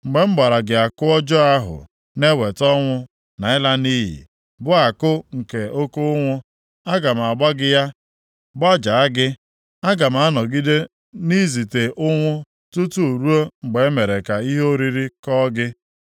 Mgbe m gbara gị àkụ ọjọọ ahụ na-eweta ọnwụ na ịla nʼiyi, bụ àkụ nke oke ụnwụ, aga m agba gị ya, gbajaa gị. Aga m anọgide na-ezite ụnwụ tutu ruo mgbe e mere ka ihe oriri kọọ gị.